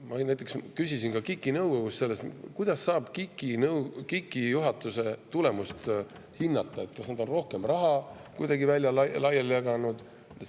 Ma küsisin näiteks KIK‑i nõukogus, kuidas saab KIK‑i juhatuse tulemust hinnata, kas nad on kuidagi rohkem raha laiali jaganud.